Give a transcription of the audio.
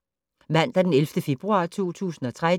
Mandag d. 11. februar 2013